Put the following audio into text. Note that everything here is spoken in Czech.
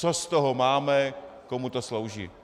Co z toho máme, komu to slouží?